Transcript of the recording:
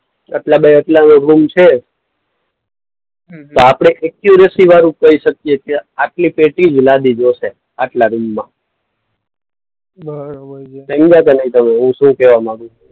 આટલા બાય આટલાનો રૂમ છે હમ્મ હમ્મ. તો આપણે ઍક્યુરસી વાળું કહી શકીએ કે આટલી પેટી જ લાદી જોશે આટલા રૂમમાં બરોબર છે. સમજ્યા કે નહીં તમે હું શું કહેવા માંગુ છું.